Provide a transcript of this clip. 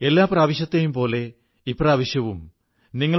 എന്നാൽ ഇപ്രാവശ്യം വലിയ വലിയ ആഘോഷങ്ങളൊന്നുമില്ല